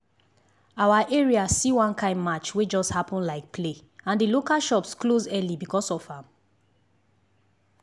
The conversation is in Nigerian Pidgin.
our area see one kind march wey just happen like play and the local shops close early because of am.